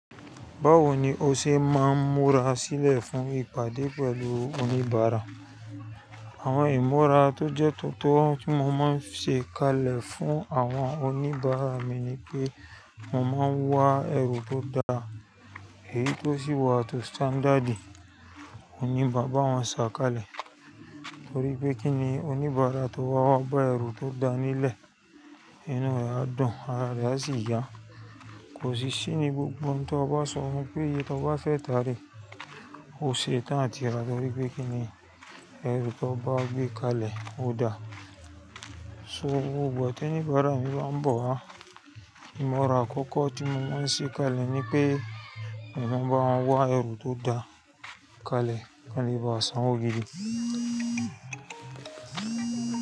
Báwo ni o ṣe máa ń múra sílẹ̀ fún ìpàdé pẹ̀lú oníbàárà? Àwọn ìmúra tó jẹ́ tuntun tí mo máa ń ṣe kalẹ̀ fún àwọn oníbàárà mi ni pé mo máa ń wá ẹrù tó dáa, èyí tó sì wà tó standard, on ní màá bá wọn ṣà ka'lẹ̀. Torí pé kíni oníbàárà tó wá wá bá ẹrù tó dáa nílẹ̀, iná rẹ̀ á dún, ara rẹ̀ á sì yá. Kò sí ṣí ní gbogbo ohun tó bá sọfun pé'ye tó bá fẹ́ tàà rèé, ó ṣe tán àti ra torí pé kíni ẹrù tó bá gbé kalẹ̀ ó dáa. So gbogbo ìgbà t'oníbàárà mi bá ń bọ̀ wa, ìmúra àkọ́kọ́ tí mo máa ń ṣe kalẹ̀ ni pé mo máa bá wọn wá ẹrù tó dáa ka'lẹ̀ kán lè bá sanwó gidi.